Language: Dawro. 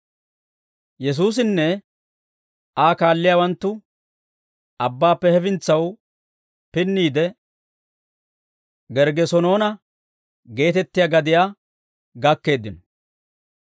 Yesuusinne Aa kaalliyaawanttu abbaappe hefintsaw pinniide, Gerggesenoona geetettiyaa gadiyaa gakkeeddino.